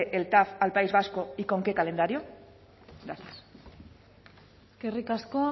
el tav al país vasco y con qué calendario gracias eskerrik asko